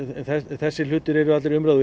þessir hlutir er allir í umræðu